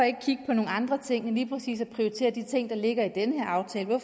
ikke kigger på nogle andre ting end lige præcis at prioritere de ting der ligger i den her aftale at